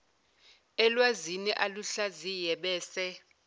elwazini aluhlaziye bese